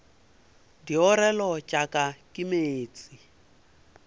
diorelo tša ka ke meetse